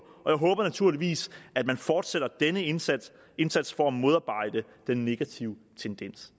og jeg håber naturligvis at man fortsætter denne indsats indsats for at modarbejde den negative tendens